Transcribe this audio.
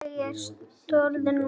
Ég er stöðug núna.